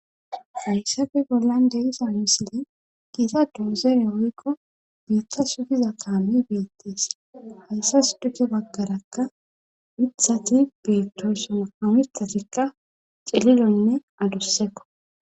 Hayssafe bollan deyisa misile giita doozeere woykko biitta sugiza kaami beettees hayssas duke baggarakka mithati bettoysoma hamithatikka celilonne adussekko